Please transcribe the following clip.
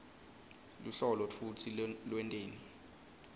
luhlolo futsi lwenteni